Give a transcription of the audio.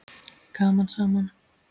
Gaman saman!